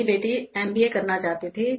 मेरी बेटी एमबीए करना चाहती थी